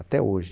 Até hoje.